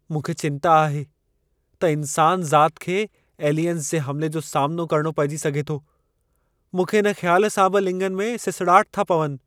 मूंखे चिंता आहे त इंसान ज़ात खे एलियंस जे हमिले जो सामनो करणो पइजी सघे थो। मूंखे इन ख़्याल सां बि लिङनि में सिसड़ाहट था पवनि।